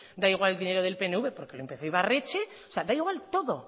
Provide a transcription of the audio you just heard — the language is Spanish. da igual el dinero del pnv porque lo empezó ibarretxe da igual todo